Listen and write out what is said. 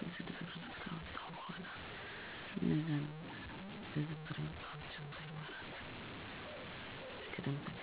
መሰብሰብ ሁሉንም አስፈላጊ ቀጠሮዎቼን እገባለሁ። 2. የቀኑን ተግባራት በዝርዝር መፃፍ ለቀኑ የምሰራባቸውን የተወሰኑ ነገሮች በዝርዝር ዝርዝር አዘጋጃለሁ። 3. ቅድም-ተከተል መግለጽ ከዝርዝሩ ውስጥ በጣም አስፈላጊ የሆኑትን ነገሮች በመጀመሪያ ለማድረግ እመልከታለሁ። ይህ ሂደት ነገሮችን በቀላሉ ለማስተናገድ እና ጊዜ ለማስተጋበን ይረዳኛል።